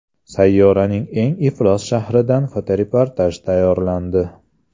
Sayyoraning eng iflos shahridan fotoreportaj tayyorlandi.